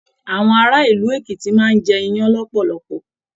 Àwọn ará ìlú Èkìtì máa n jẹ iyán lọpọlọpọ.